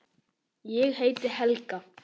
Ég heiti Helga!